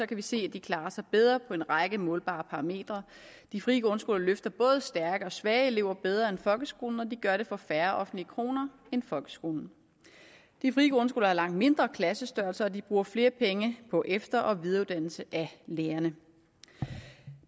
kan vi se at de klarer sig bedre på en række målbare parametre de frie grundskoler løfter både stærke og svage elever bedre end folkeskolen og de gør det for færre offentlige kroner end folkeskolen de frie grundskoler har langt mindre klassestørrelser og de bruger flere penge på efter og videreuddannelse af lærerne